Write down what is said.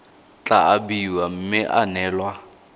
tla abiwa mme ya neelwa